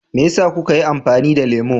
Me yasa kuka yi amfani da lemu?